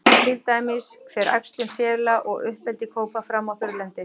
Til dæmis fer æxlun sela og uppeldi kópa fram á þurrlendi.